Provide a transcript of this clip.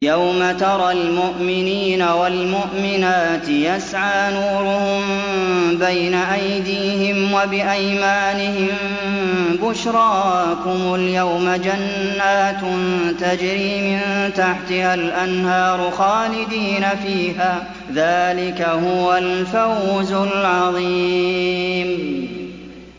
يَوْمَ تَرَى الْمُؤْمِنِينَ وَالْمُؤْمِنَاتِ يَسْعَىٰ نُورُهُم بَيْنَ أَيْدِيهِمْ وَبِأَيْمَانِهِم بُشْرَاكُمُ الْيَوْمَ جَنَّاتٌ تَجْرِي مِن تَحْتِهَا الْأَنْهَارُ خَالِدِينَ فِيهَا ۚ ذَٰلِكَ هُوَ الْفَوْزُ الْعَظِيمُ